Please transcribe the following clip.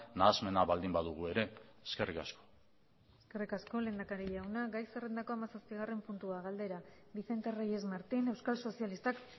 nahasmena baldin badugu ere eskerrik asko eskerrik asko lehendakari jauna gai zerrendako hamazazpigarren puntua galdera vicente reyes martín euskal sozialistak